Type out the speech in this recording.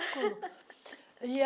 e a